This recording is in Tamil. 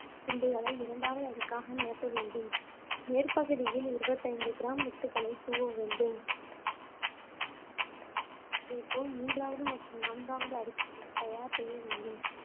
துண்டுகளை இரண்டாவது அடுக்காக நிரப்ப வேண்டும் மேற்பகுதியில் இருபத்தி ஐந்து கிராம் வித்துகளை தூவ வேண்டும் இதே போல் மூன்றாவது மற்றும் நான்காவது அடுக்குகளை தயார் செய்ய வேண்டும்